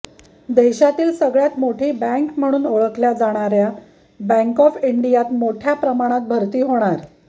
देशातली सगळ्यात मोठी बँक म्हणून ओळखल्या जाणाऱ्या बँक ऑफ इंडियानं मोठ्या प्रमाणात भरती होणार